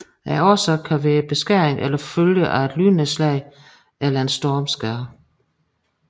Årsagen kan være beskæring eller følgen af et lynnedslag eller en stormskade